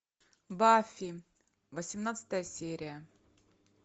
баффи восемнадцатая серия